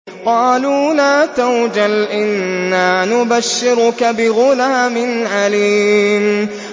قَالُوا لَا تَوْجَلْ إِنَّا نُبَشِّرُكَ بِغُلَامٍ عَلِيمٍ